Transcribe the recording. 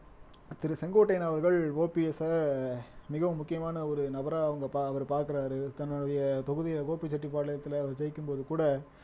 திரு செங்கோட்டையன் அவர்கள் O P S அமிகவும் முக்கியமான ஒரு நபரா அவங்க ப அவர் பாக்குறாரு தன்னுடைய தொகுதியை கோபிசெட்டிபாளையத்தில அவர் ஜெயிக்கும் போது கூட